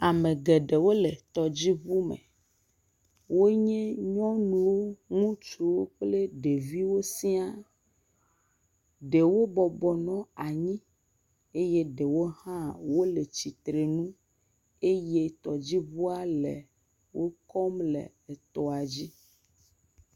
Ame geɖewo le tɔdziŋu me. Wo nye nyɔnuwo, ŋutsuwo kple ɖeviwo sia. Ɖewo bɔbɔnɔ anyi eye ɖewo hã wo le tsitrenu eye tɔdziŋua le wokɔm le etɔa dzi.